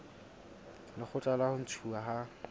lekgotla la ho ntshuwa ha